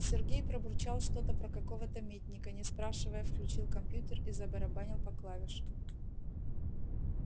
сергей пробурчал что-то про какого-то митника не спрашивая включил компьютер и забарабанил по клавишам